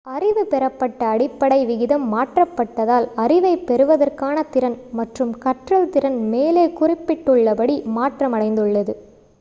அறிவு பெறப்பட்ட அடிப்படை விகிதம் மாற்றப்பட்டதால் அறிவைப் பெறுவதற்கான திறன் மற்றும் கற்றல் திறன் மேலே குறிப்பிட்டுள்ளபடி மாற்றமடைந்துள்ளது